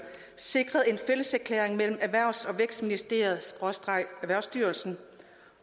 sikret en fælles erklæring mellem erhvervs og vækstministeriet skråstreg erhvervsstyrelsen